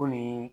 Ko nin